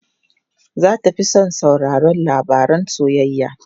Za ta fi son sauraron labaran soyayya.